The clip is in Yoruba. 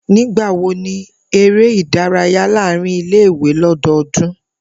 Nigbawo ni ere idaraya laarin ile-iwe lododun?